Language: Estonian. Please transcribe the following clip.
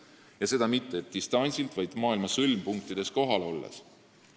Ja seda mitte distantsilt, vaid maailma sõlmpunktides kohal olles.